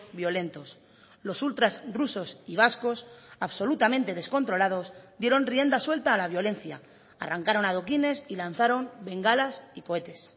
violentos los ultras rusos y vascos absolutamente descontrolados dieron rienda suelta a la violencia arrancaron adoquines y lanzaron bengalas y cohetes